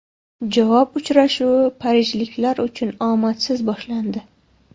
Javob uchrashuvi parijliklar uchun omadsiz boshlandi.